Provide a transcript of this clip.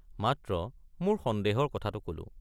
মাত্ৰ মোৰ সন্দেহৰ কথাটো কলো।